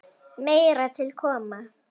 Meira til koma.